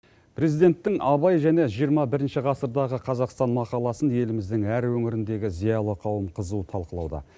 президенттің абай және жиырма бірінші ғасырдағы қазақстан мақаласын еліміздің әр өңіріндегі зиялы қауым қызу талқылауда